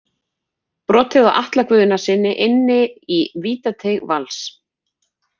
Brotið á Atla Guðnasyni inni í vítateig Vals.